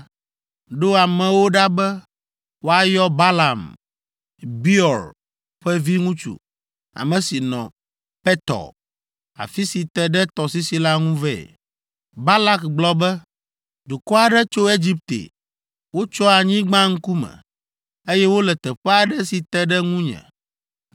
ɖo amewo ɖa be woayɔ Balaam, Beor ƒe viŋutsu, ame si nɔ Petor, afi si te ɖe tɔsisi la ŋu vɛ. Balak gblɔ be, “Dukɔ aɖe tso Egipte; wotsyɔ anyigba ŋkume, eye wole teƒe aɖe si te ɖe ŋunye.